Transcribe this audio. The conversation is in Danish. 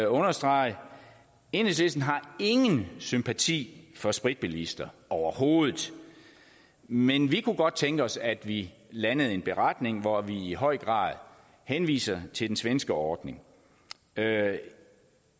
understrege at enhedslisten ingen sympati for spritbilister overhovedet men vi kunne godt tænke os at vi landede en beretning hvori vi i høj grad henviser til den svenske ordning da